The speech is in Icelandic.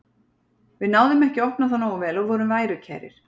Við náðum ekki að opna þá nógu vel og vorum værukærir.